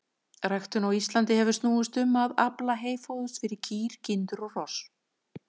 Ræktun á Íslandi hefur snúist um að afla heyfóðurs fyrir kýr, kindur og hross.